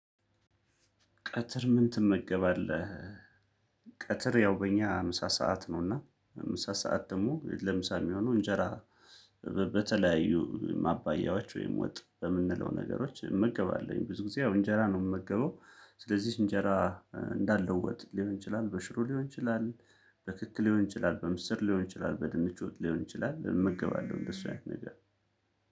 ቀትር ምን ትመገባለህ? ቀትር ያው በእኛ ምሳ ሰዓት ነውና ምሳ ሰዓት ደግሞ ለምሳ የሚሆነው እንጀራ በተለያዩ ማባያዎች ወይም ወጥ በምንለው ነገሮች እመገባለሁኝ ብዙ ጊዜ ያው እንጀራ ነው የምመገበው ስለዚህ እንጀራ እንዳለው ወጥ ሊሆን ይችላል በሽሮ ሊሆን ይችላል በክክ ሊሆን ይችላል በምስር ሊሆን ይችላል በድንች ወጥ ሊሆን ይችላል እመገባለሁ እንደሱ አይነት ነገር